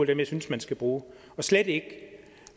dem jeg synes man skal bruge og slet ikke